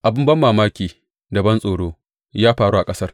Abin banmamaki da bantsoro ya faru a ƙasar.